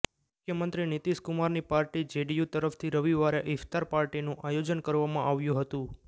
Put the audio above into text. મુખ્યમંત્રી નીતિશ કુમારની party JDU તરફથી રવિવારે ઈફ્તાર પાર્ટીનું આયોજન કરવામાં આવ્યું હતું